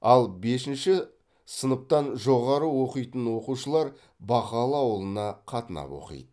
ал бесінші сыныптан жоғары оқитын оқушылар бақалы ауылына қатынап оқиды